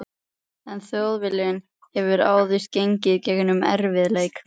En Þjóðviljinn hefur áður gengið í gegnum erfið- leika.